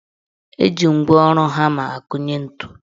Eji ngwaọrụ hama akụnye ntu.